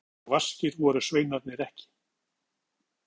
Hann vissi betur, svo vaskir voru sveinarnir ekki.